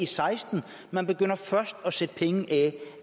seksten man begynder først at sætte penge af